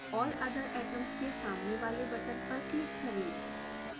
all other atoms के सामने वाले बटन पर क्लिक करें